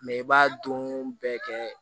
Mɛ i b'a don bɛɛ kɛ